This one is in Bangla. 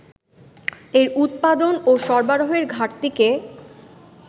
এর উৎপাদন ও সরবরাহের ঘাটতিকেই